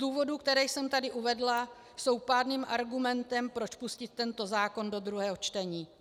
Důvody, které jsem tady uvedla, jsou pádným argumentem, proč pustit tento zákon do druhého čtení.